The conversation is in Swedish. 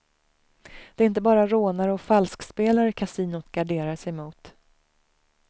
Det är inte bara rånare och falskspelare kasinot garderar sig emot.